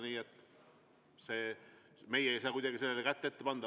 Meie ei saa sellele kuidagi kätt ette panna.